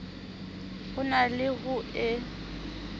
ho na le ho e